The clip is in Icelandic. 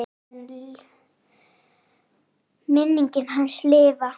Þannig mun minning hans lifa.